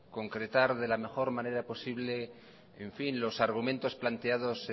concretar de la mejor manera posible los argumentos planteados